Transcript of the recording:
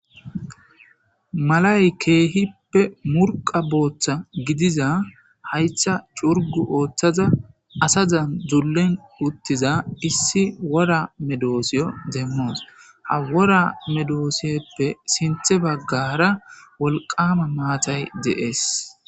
Malay keehippe murqa botha gidiza haytha curgu ooththaza asazan dzullin uttiza issi wora medoosiyo deemmoos ha wora medooseppe sinthe baggara woliqama maatay de'ees